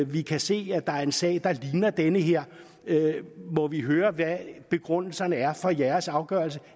vi kan se at der er en sag der ligner den her må vi høre hvad begrundelserne er for jeres afgørelse